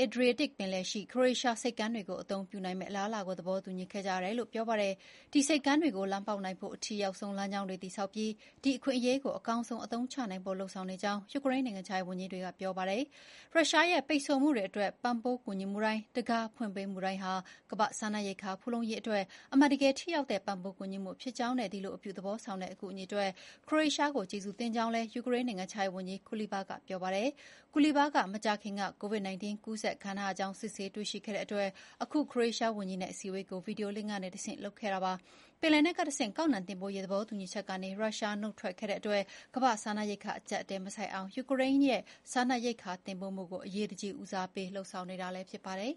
အေဒရီယက်တစ်ပင်လယ် (Adriatic) ပင်လယ်ရှိ ခရိုအေးရှားဆိပ်ကမ်းတွေကို အသုံးပြုနိုင်မယ့်အလားအလာကို သဘောတူညီခဲ့ကြတယ် ဆိုပါတယ်။ ဒီဆိပ်ကမ်းတွေကိုလမ်းပေါက်နိုင်ဖို့ အထိရောက်ဆုံးလမ်းကြောင်းတွေတည်ဆောက်ပြီး ဒီအခွင့်အရေးကို အကောင်းဆုံးအသုံးချနိုင်ဖို့ လုပ်ဆောင်နေကြောင်း ယူကရိန်းနိုင်ငံခြားရေးဝန်ကြီးက ပြောပါယ်။ ရုရှားရဲ့ ပိတ်ဆို့မှုတွေအတွက် ပံ့ပိုးကူညီမှုတိုင်း၊ တံခါးဖွင့်ပေးမှုတိုင်းဟာ ကမ္ဘာ့စားနပ်ရိက္ခာဖူလုံရေးအတွက် အမှန်တကယ်ထိရောက်တဲ့ ပံ့ပိုးကူညီမှု ဖြစ်ကြောင်းနဲ့ ဒီလို အပြုသဘောဆောင်တဲ့ အကူအညီအတွက် ခရိုအေးရှားကို ကျေးဇူးတင်ကြောင်းလည်း ယူကရိန်းနိုင်ငံခြားရေးဝန်ကြီး Kuleba က ပြောပါတယ်။ Kuleba က မကြာခင်က COVID-19 ကူးစက်ခံထားရကြောင်း စစ်ဆေးတွေ့ရှိခဲ့လို့ အခု ခရိုအေးရှားဝန်ကြီးနဲ့အစည်းအဝေးကို ဗီဒီယိုလင့်ခ်ကတဆင့်လုပ်ခဲ့ပါတယ်။ ပင်လယ်နက်ကတဆင့် ကောက်နှံတင်ပို့ရေး သဘောတူညီချက်ကနေ ရုရှားက နုတ်ထွက်ခဲ့လို့ ကမ္ဘာ့စားနပ်ရိက္ခာအကျပ်အတည်းမဆိုက်အောင် ယူကရိန်းရဲ့ စားနပ်ရိက္ခာတွေတင်ပို့မှုကို အရေးတကြီး ဦးစားပေးလုပ်ဆောင်နေတာလည်း ဖြစ်ပါတယ်